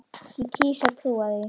Ég kýs að trúa því.